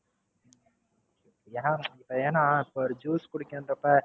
ஏன் ஏன்னா இப்ப ஒரு Juice குடிக்கன்றப்ப,